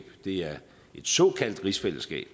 det er et såkaldt rigsfællesskab